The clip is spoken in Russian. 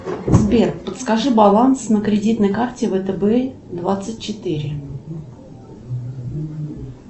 сбер подскажи баланс на кредитной карте втб двадцать четыре